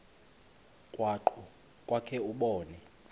krwaqu kwakhe ubone